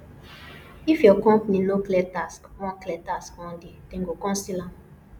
if your company no clear tax one clear tax one day dem go come seal am